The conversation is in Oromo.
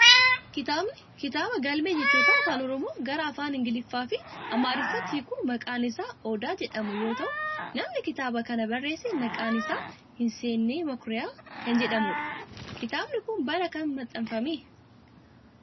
Kitaabni kitaabaa galmee jechootaa afaan oromoo gara afaan ingiliffaa fi amaariffatti hiiku maqaan isaa odaa jedhamu yoo ta'u namni kitaaba kana barreesse maqaan isaa Hinseenee makuriyaa nama jedhamudha. Kitaabni kun bara kam maxxanfame?